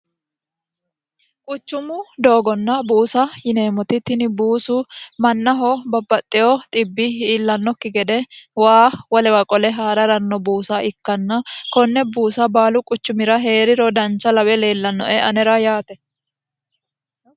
quchumu doogonna buusa yineemmoti tini buusu mannaho babbaxxeyo xibbi iillannokki gede waa wolewa qole haa'raranno buusa ikkanna konne buusa baalu quchumira hee'ri rodancha lawe leellannoe anera yaate